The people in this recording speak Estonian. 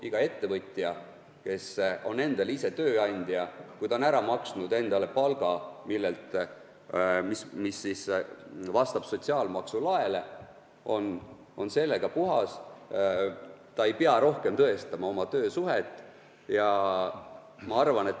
Iga ettevõtja, kes on endale ise tööandja, kui ta on ära maksnud endale palga, mis vastab sotsiaalmaksu laele, on siis puhas, ta ei pea rohkem oma töösuhet tõestama.